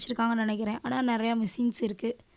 ~பிச்சிருக்காங்கன்னு நினைக்கிறேன். ஆனா நிறைய machines இருக்கு